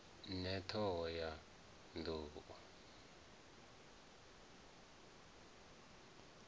ṋne t hoho ya nḓou